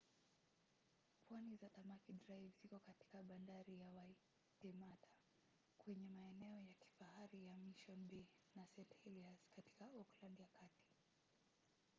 pwani za tamaki drive ziko katika bandari ya waitemata kwenye maeneo ya kifahari ya mission bay na st. heliers katika auckland ya kati